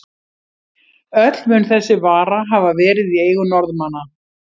Öll mun þessi vara hafa verið í eigu Norðmanna.